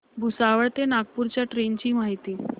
भुसावळ ते नागपूर च्या ट्रेन ची माहिती